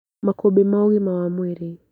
Makũmbĩ ma ũgima wa mwĩrĩ